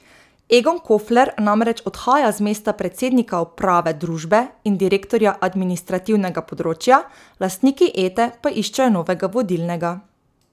Egon Kofler namreč odhaja z mesta predsednika uprave družbe in direktorja administrativnega področja, lastniki Ete pa iščejo novega vodilnega.